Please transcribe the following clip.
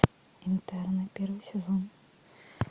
интерны первый сезон